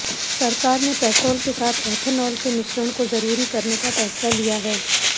सरकार ने पेट्रोल के साथ एथेनॉल के मिश्रण को जरूरी करने फैसला लिया है